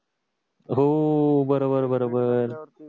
हो बरोबर बरोबर